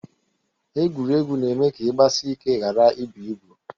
Egwuregwu na-eme ka ị gbasị ike ghara ibụ ibụ